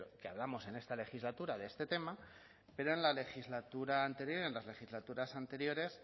que hablamos en esta legislatura de este tema pero en la legislatura anterior en las legislaturas anteriores